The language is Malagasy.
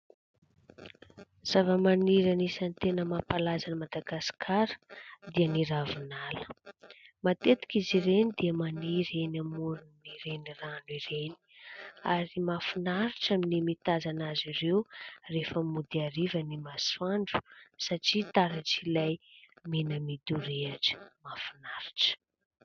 Zava-maniry anisan'ny tena mampalaza an'i Madagasikara dia ny ravinala. Matetika izy ireny dia maniry eny amoron'ireny rano ireny, ary mahafinaritra ny mitazana azy ireo rehefa mody ariva ny masoandro satria taratr'ilay mena midorehatra mahafinaritra.